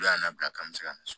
Olu y'an bila ka n bɛ se ka misɛn